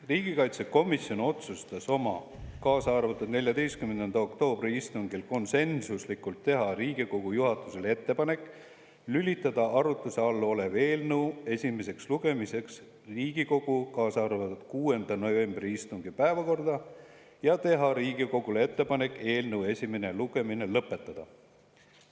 Riigikaitsekomisjon otsustas oma käesoleva aasta 14. oktoobri istungil konsensuslikult teha Riigikogu juhatusele ettepaneku lülitada arutluse all olev eelnõu esimeseks lugemiseks Riigikogu 6. novembri istungi päevakorda ja teha Riigikogule ettepaneku eelnõu esimene lugemine lõpetada.